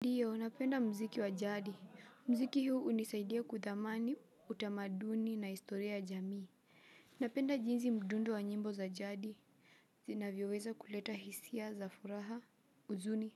Ndiyo, napenda mziki wa jadi. Mziki huu hunisaidia kuthamani, utamaduni na historia ya jamii. Napenda jinsi mdundo wa nyimbo za jadi zinavyoweza kuleta hisia, za furaha, huzuni,